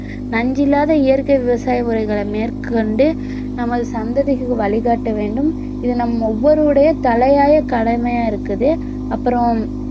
நஞ்சில்லாத இயற்கை விவசாய முறைகளை மேற்கொண்டு நமது சந்ததிகளுக்கு வழிகாட்ட வேண்டும் இது நம் ஒவ்வொருவருடைய தலையாய கடமையா இருக்குது அப்புறம்